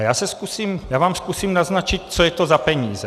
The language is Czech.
A já vám zkusím naznačit, co je to za peníze.